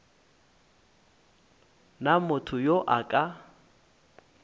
na motho yo a ka